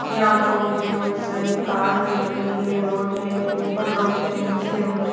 यहाँ पर मुझे बहुत सारी कार दिख रही है रोड है ऊपर रोड है नीचे रोड है।